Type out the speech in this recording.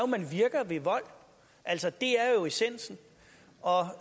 man virker ved vold altså det er jo essensen og